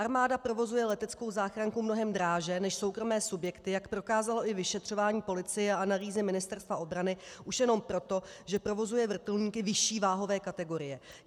Armáda provozuje leteckou záchranku mnohem dráže než soukromé subjekty, jak prokázalo i vyšetřování policie a analýzy Ministerstva obrany, už jenom proto, že provozuje vrtulníky vyšší váhové kategorie.